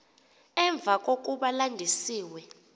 emva kokuba landisiwe